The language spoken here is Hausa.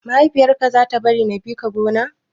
Mahaifiyar ka za ta bari na bi ka gona?